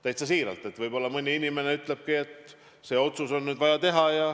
Täitsa siiralt, võib-olla mõni inimene ütleb, et see otsus on nüüd vaja teha.